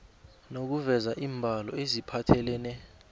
nokuveza iimbalo eziphathelene